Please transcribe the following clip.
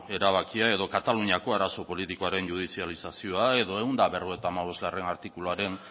erabakia edo kataluniako arazo politikoaren judizializazioa edo ehun eta berrogeita hamabostgarrena artikuluaren